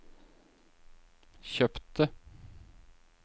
kjøpte